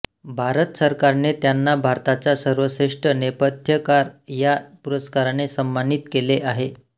भारत सरकारने त्यांना भारताचा सर्वश्रेष्ठ नेपथ्यकार या पुरस्काराने सन्मानित केले आहे